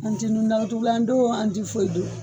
An ti nun datugulan do an ti foyi do